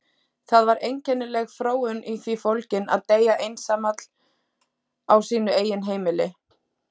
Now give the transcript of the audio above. Það var einkennileg fróun í því fólgin að deyja einsamall á sínu eigin heimili.